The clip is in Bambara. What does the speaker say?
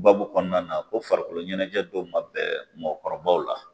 Babu kɔnɔna na ko farikolo ɲɛnajɛ dɔw ma bɛn mɔgɔkɔrɔbaw la